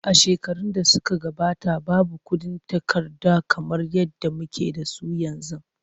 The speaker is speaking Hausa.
A shekarun da suka gabata, babu kuɗin takarda kamar yadda muke da su yanzu.